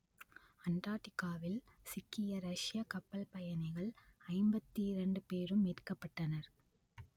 அண்டார்க்டிக்காவில் சிக்கிய ரஷ்யக் கப்பல் பயணிகள் ஐம்பத்தி இரண்டு பேரும் மீட்கப்பட்டனர்